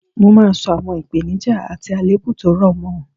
Mo máa sọ àwọn ìpeníjà àti àlèébù tó rọ̀ mọ